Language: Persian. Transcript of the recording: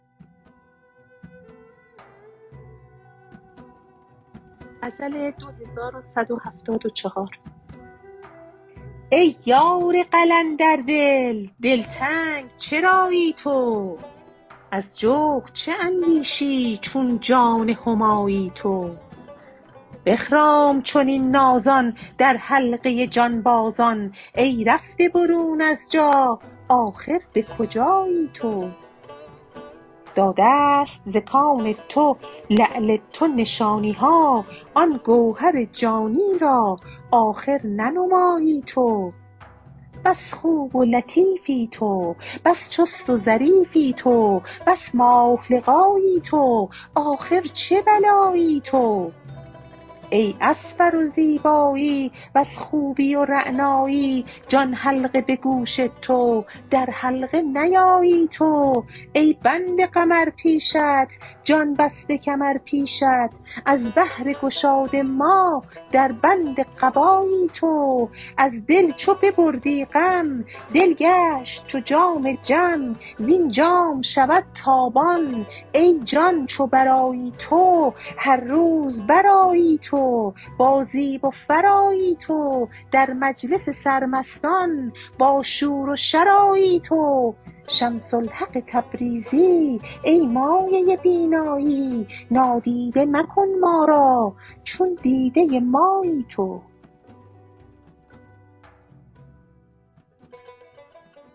ای یار قلندردل دلتنگ چرایی تو از جغد چه اندیشی چون جان همایی تو بخرام چنین نازان در حلقه جانبازان ای رفته برون از جا آخر به کجایی تو داده ست ز کان تو لعل تو نشانی ها آن گوهر جانی را آخر ننمایی تو بس خوب و لطیفی تو بس چست و ظریفی تو بس ماه لقایی تو آخر چه بلایی تو ای از فر و زیبایی وز خوبی و رعنایی جان حلقه به گوش تو در حلقه نیایی تو ای بنده قمر پیشت جان بسته کمر پیشت از بهر گشاد ما در بند قبایی تو از دل چو ببردی غم دل گشت چو جام جم وین جام شود تابان ای جان چو برآیی تو هر روز برآیی تو با زیب و فر آیی تو در مجلس سرمستان باشور و شر آیی تو شمس الحق تبریزی ای مایه بینایی نادیده مکن ما را چون دیده مایی تو